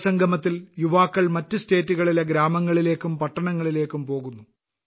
യുവസംഗമത്തിൽ യുവാക്കൾ മറ്റ് സംസ്ഥാനങ്ങളിലെ ഗ്രാമങ്ങളിലേയ്ക്കും പട്ടണങ്ങളിലേയ്ക്കും പോകുന്നു